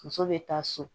Muso bɛ taa so